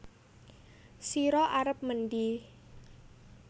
Sira arep mendhi